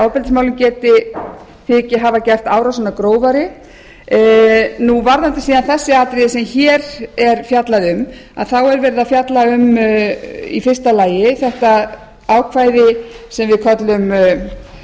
ofbeldismálum þyki hafa gert árásina grófari varðandi þau atriði sem hér er fjallað um er í fyrsta lagi verið að fjalla um ákvæði